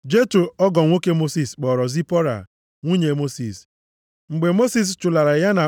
Jetro ọgọ nwoke Mosis kpọọrọ Zipọra, nwunye Mosis, mgbe Mosis chụlara ya